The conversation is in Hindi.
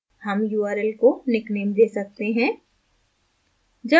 हम url को निकनेम we सकते हैं